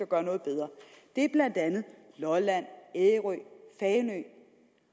gøre noget bedre det er blandt andet lolland ærø fanø